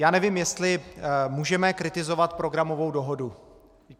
Já nevím, jestli můžeme kritizovat programovou dohodu.